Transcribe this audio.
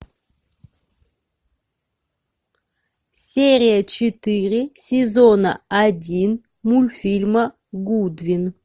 серия четыре сезона один мультфильма гудвин